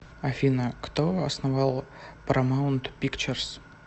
афина кто основал парамаунт пикчерз